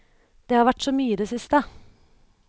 Det har vært så mye i det siste.